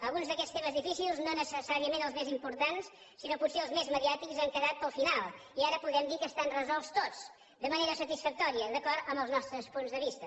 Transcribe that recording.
alguns d’aquests temes difícils no necessàriament els més importants sinó potser els més mediàtics han quedat per al final i ara podem dir que estan resolts tots de manera satisfactòria i d’acord amb els nostres punts de vista